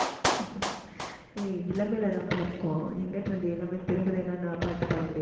ஏய் இளமையிலதாம்ப்பா இருக்கோம். எங்கிட்ட இருந்து, இளமை திரும்புதுன்னா, நான் பாட்டு பாட முடியாது இல்லை